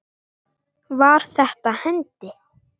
Var þetta hendi?